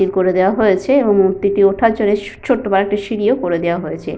বের করে দেওয়া হয়েছে এবং মূর্তিটি ওঠার জন্য স ছোট্ট কয়েকটি সিঁড়িও করে দেওয়া হয়েছে।